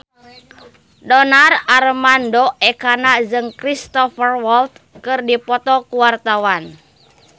Donar Armando Ekana jeung Cristhoper Waltz keur dipoto ku wartawan